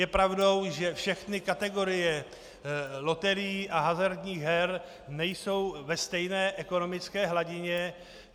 Je pravdou, že všechny kategorie loterií a hazardních her nejsou ve stejné ekonomické hladině.